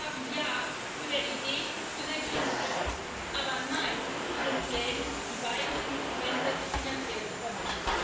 Ich sage Ja zu der Idee, Synergien zu schaffen, aber Nein zu den Plänen, die beiden Instrumente finanziell zu vermischen.